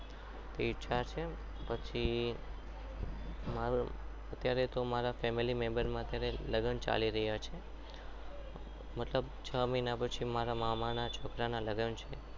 તો ઈચ્છા છે પછી મારું અત્યારે તો મારા family member માં અત્યારે લગ્ન ચાલી રહ્યા છે મતલબ છ મહિના પછી મારા મામાના છોકરાના લગ્ન છે.